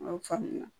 y'a faamuya